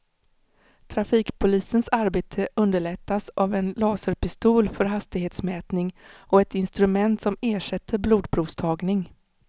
Trafikpolisens arbete underlättas av en laserpistol för hastighetsmätning och ett instrument som ersätter blodprovstagning.